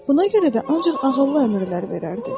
Buna görə də ancaq ağıllı əmrlər verərdi.